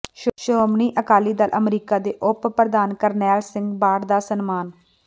Shiromani Akali Dal America ਦੇ ਉਪ ਪ੍ਰਧਾਨ ਕਰਨੈਲ ਸਿੰਘ ਬਾਠ ਦਾ ਸਨਮਾਨ